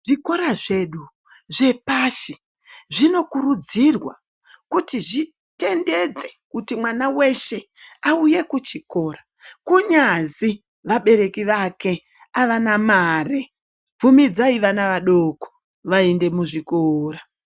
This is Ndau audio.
Zvikora zvedu zvepashi zvinokurudzirwa kuti zvitendedzekuti mwana weshe auye kuchikora kunyazi vabereki vake avana mari. Bvumidzai vana vadoko vaende muzvikora.